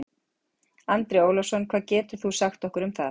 Andri Ólafsson: Hvað getur þú sagt okkur um það?